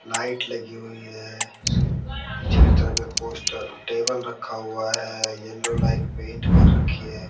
Light लगी हुई है पीछे की तरफ एक पोस्टर टेबल रखा हुआ है येलो लाइट पेंट कर रखी है।